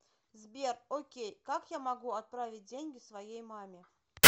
сбер окей как я могу отправить деньги своей маме